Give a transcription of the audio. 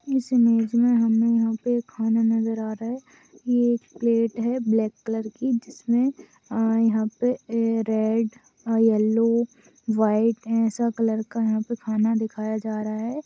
इस इमेज मे हमे यहा पे खाना नजर आ रहा है एक प्लेट है ब्लॅक कलर की जिसमे अह यहा पे रेड येल्लो व्हाइट ऐसा कलर का यहा पे खाना दिखाया जा रहा है।